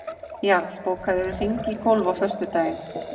Jarl, bókaðu hring í golf á föstudaginn.